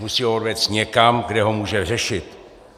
Musí ho odvést někam, kde ho může řešit.